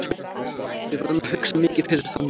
Við verðum að hugsa mikið fyrir þann leik.